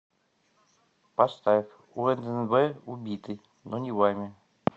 поставь уннв убиты но не вами